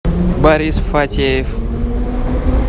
борис фатеев